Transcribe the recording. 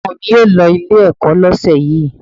Ọmọ mi ò lọ Ilé-ẹ̀kọ́ lọ́sẹ̀ yìí